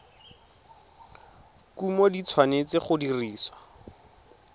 kumo di tshwanetse go dirisiwa